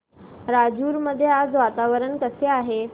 राजूर मध्ये आज वातावरण कसे आहे